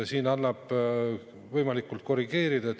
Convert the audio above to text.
Siin annab korrigeerida.